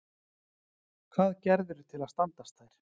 Hvað gerðirðu til að standast þær?